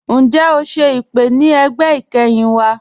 Ǹjẹ́ o ṣẹ̀ ipè̀ ni ẹgbẹ́ ikẹ́hin wa?